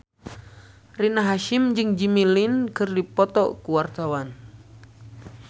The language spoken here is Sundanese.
Rina Hasyim jeung Jimmy Lin keur dipoto ku wartawan